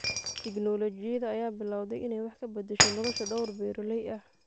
Tiknoolajiyada ayaa bilowday inay wax ka bedesho nolosha dhowr beeraley ah.